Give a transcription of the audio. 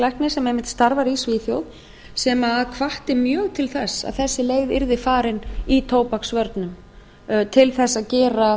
læknis sem einmitt starfar í svíþjóð sem hvatti mjög til þess að þessi leið yrði farin í tóbaksvörnum til þess að gera